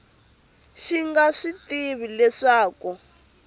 xi nga swi tivi leswaku